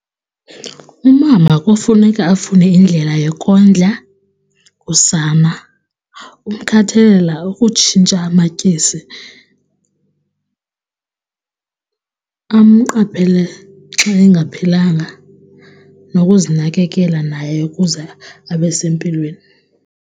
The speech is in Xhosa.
Umama kufuneka afune indlela yokondla usana, ukukhathalela ukutshintsha amatyesi, amqaphele xa engaphilanga, nokuzinakekela naye ukuze abe sempilweni.